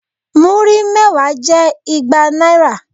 Múrí mẹ́wàá jẹ́ igba náírà.